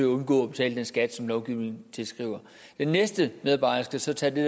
undgå at betale den skat som lovgivningen tilskriver den næste medarbejder skal så tage det